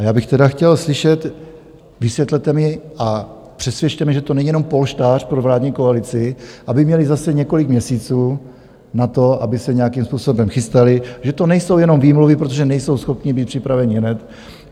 A já bych tedy chtěl slyšet, vysvětlete mi a přesvědčte mě, že to není jenom polštář pro vládní koalici, aby měli zase několik měsíců na to, aby se nějakým způsobem chystali, že to nejsou jenom výmluvy, protože nejsou schopni být připraveni hned.